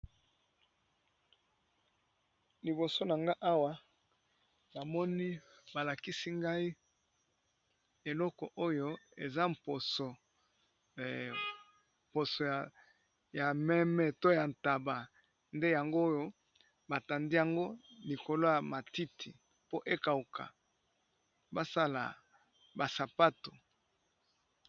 Liboso na nga awa namoni ba lakisi ngai eloko oyo eza mposo ya meme to ya ntaba, nde yango oyo ba tandi yango likolo ya matiti po ekauka ba sala ba sapato.